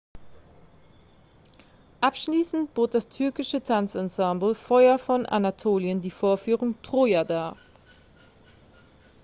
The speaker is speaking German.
"abschließend bot das türkische tanzensemble feuer von anatolien die vorführung "troja" dar.